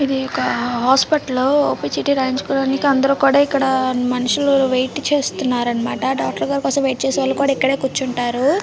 ఇది వక హాస్పిటల్ ఒక చీటి రాయించుకోడానికి అందరు కూడ ఇక్కడ మనుషులు వెయిట్ చేస్తున్నారు అన్నమాట డాక్టర్ గారు కోసం వెయిట్ చేసేవాళ్ళు కూడ ఇక్కడే కూర్చుంటారు.